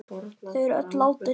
Þau er öll látin.